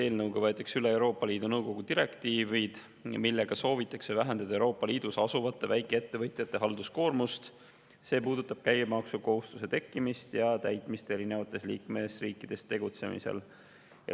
Eelnõu kohaselt võetakse üle Euroopa Liidu Nõukogu direktiivid, millega soovitakse vähendada Euroopa Liidus asuvate väikeettevõtjate halduskoormust, see puudutab käibemaksukohustuse tekkimist ja täitmist erinevates liikmesriikides tegutsemisel.